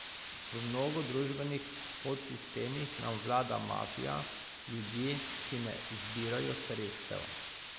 V mnogo družbenih podsistemih nam vlada mafija, ljudje, ki ne zbirajo sredstev.